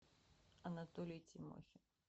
анатолий тимохин